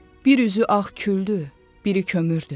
Bir üzü ağ küldü, biri kömürdü.